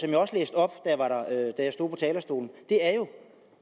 jeg også læste op da jeg stod på talerstolen